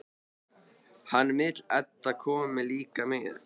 Hann vill að Edda komi líka með.